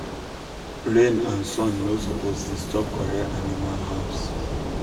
rain and sun no supppose disturb correct animal house